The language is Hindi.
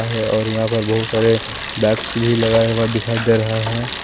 और यहां पर बहुत सारे वैक्स भी लगाए हुए दिखाई दे रहा है।